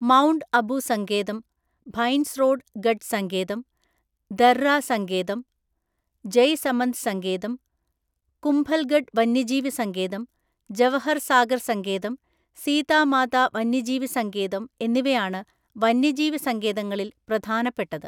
Mount Abu സങ്കേതം, Bhainsrorgarh സങ്കേതം, ദര്റ സങ്കേതം, ജയ്‌സമന്ദ് സങ്കേതം, കുംഭൽഗഡ് വന്യജീവി സങ്കേതം, ജവഹർ സാഗർ സങ്കേതം, സീതാ മാതാ വന്യജീവി സങ്കേതം എന്നിവയാണ് വന്യജീവി സങ്കേതങ്ങളിൽ പ്രധാനപ്പെട്ടത്.